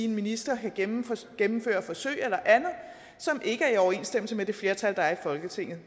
en minister kan gennemføre gennemføre forsøg eller andet som ikke er i overensstemmelse med det flertal der er i folketinget